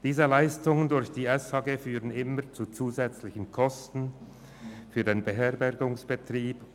Diese Leistungen durch die SGH führen immer zu zusätzlichen Kosten für den Beherbergungsbetrieb.